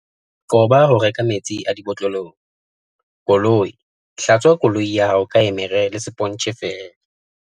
Qoba ho reka metsi a dibotlolong. Koloi Hlatswa koloi ya hao ka emere le sepontjhe feela.